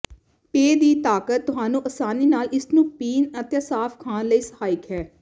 pay ਦੀ ਤਾਕਤ ਤੁਹਾਨੂੰ ਆਸਾਨੀ ਨਾਲ ਇਸ ਨੂੰ ਪੀਣ ਅਤੇ ਸਾਫ ਖਾਣ ਲਈ ਸਹਾਇਕ ਹੈ